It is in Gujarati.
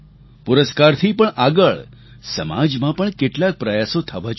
પુરસ્કારથી પણ આગળ સમાજમાં પણ કેટલાક પ્રયાસો થવા જોઈએ